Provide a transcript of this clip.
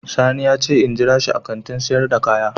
Sani ya ce in jira shi a Kantin sayar da kaya.